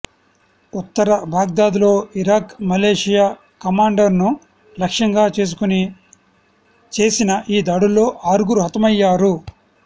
ఉత్తర బాగ్దాద్లో Iraq militia కమాండర్ను లక్ష్యంగా చేసుకుని చేసిన ఈ దాడుల్లో ఆరుగురు హతమయ్యారు